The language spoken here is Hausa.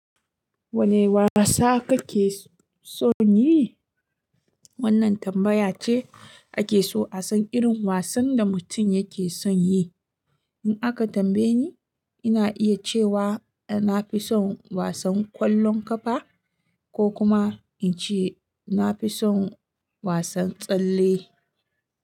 Wane wasa kake son yi? Wannan tambaya ce ake so a san irin wasan da mutum yake son yi. In aka tambaye ni, ina iya cewa i na fi son wasan ƙwallon ƙafa ko kuma in ce na fi son wasan tsalle.